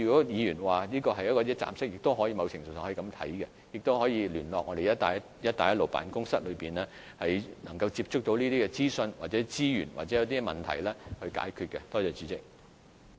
議員建議設立一個一站式的服務平台，某程度上，中小企也可以聯絡辦公室，以便取得到有關的資訊或資源；或它們遇上問題時，辦公室也可以協助解決。